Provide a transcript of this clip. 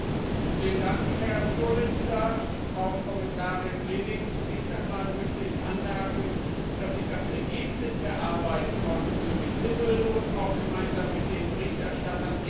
Herr Präsident, Frau Kommissarin Reding! Zunächst einmal möchte ich anmerken, dass ich das Ergebnis der Arbeit von Birgit Sippel auch gemeinsam mit den Berichterstattern sehr begrüße.